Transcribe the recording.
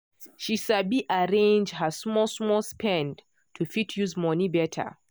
she sabi arrange her small small spend to fit use money better.